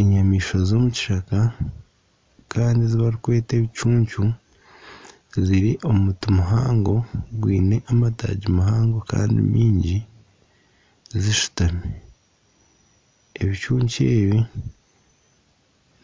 Enyamaishwa z'omu kishaka kandi ezi barikweta ebicuncu ziri omu muti muhango gwine amataagi mahango kandi maingi kandi zishutami, ebicucu ebi